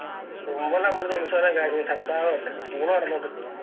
അമ്പലം ഉത്സവെല്ലം കാര്യം ഊണ് നടന്നത്